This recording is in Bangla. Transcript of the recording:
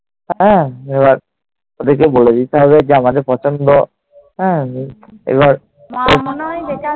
হ্যাঁ। এবার ওদেরকে বলে দিতে হবে যে আমাদের পছন্দ